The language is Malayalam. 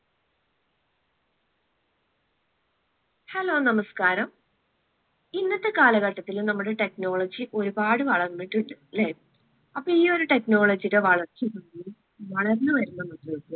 hello നമസ്കാരം. ഇന്നത്തെ കാലഘട്ടത്തില് നമ്മളുടെ technology ഒരുപാട് വളർന്നിട്ടുണ്ട് ല്ലേ അപ്പൊ ഈയൊരു technology ടെ വളർച്ച വളർന്നു വരുന്ന